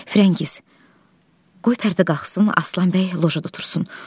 Frəngiz, qoy pərdə qalxsın, Aslan bəy lojada otursun.